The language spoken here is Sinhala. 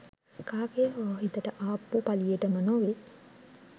කාගේ හෝ හිතට ආපු පලියටම නොවේ